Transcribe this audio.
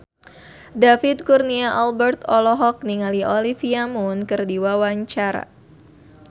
David Kurnia Albert olohok ningali Olivia Munn keur diwawancara